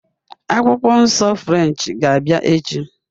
Akwụkwọ Nsọ French ga-abịa echi